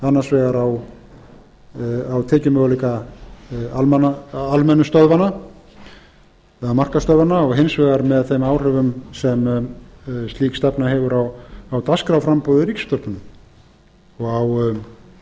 vitni annars vegar á tekjumöguleika almennu stöðvanna eða markaðsstöðvanna og hins vegar með þeim áhrifum sem slík stefna hefur á dagskrárframboð í ríkisútvarpinu